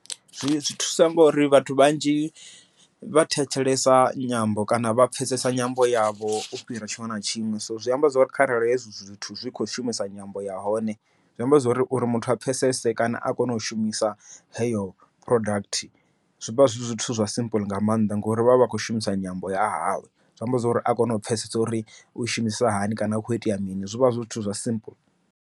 Zwi thusa ngori vhathu vhanzhi vha thetshelesa nyambo kana vha pfhesesa nyambo yavho u fhira tshiṅwe na tshiṅwe, so zwi amba zwori kharali hezwi zwithu zwi kho shumisa nyambo ya hone. Zwi amba zwori uri muthu a pfhesese kana a kone u shumisa heyo product, zwivha zwi zwithu zwa simple nga maanḓa ngori vha vha vha khou shumisa nyamba ya havho, zwi amba zwori a kone u pfhesesa uri u shumisa hani kana hu kho itea mini zwivha zwithu zwa simple.